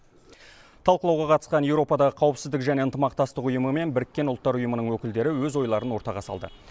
талқылауға қатысқан еуропадағы қауіпсіздік және ынтымақтастық ұйымы мен біріккен ұлттар ұйымының өкілдері өз ойларын ортаға салды